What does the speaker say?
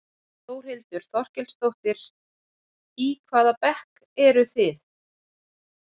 Þórhildur Þorkelsdóttir: Í hvaða bekk eruð þið?